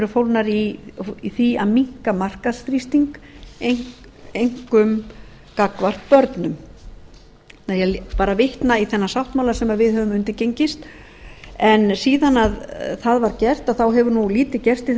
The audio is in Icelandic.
fólgnar í því að minnka markaðsþrýsting einkum gagnvart börnum ég bara vitna í þennan sáttmála sem við höfum undirgengist en síðan það var gert þá hefur nú lítið gerst í